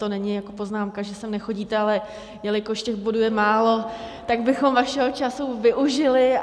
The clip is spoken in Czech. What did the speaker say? To není jako poznámka, že sem nechodíte , ale jelikož těch bodů je málo, tak bychom vašeho času využili.